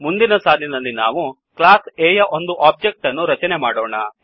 ಮುಂದಿನ ಸಾಲಿನಲ್ಲಿ ನಾವು ಕ್ಲಾಸ್ A ಯ ಒಂದು ಒಬ್ಜೆಕ್ಟ್ ಅನ್ನು ರಚನೆ ಮಾಡೋಣ